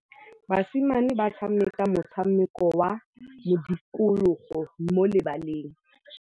Basimane ba tshameka motshameko wa modikologô mo lebaleng.